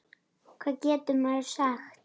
Hvað getur maður sagt.